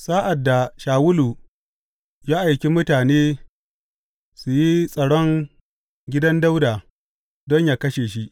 Sa’ad da Shawulu ya aiki mutane su yi tsaron gidan Dawuda don yă kashe shi.